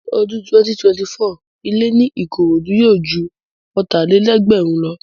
Ní ọdún 2024, ilẹ́ ní Ìkòròdú yóò ju Ọ̀tàlélẹ̀ẹ́dẹ́gbẹ̀rin lọ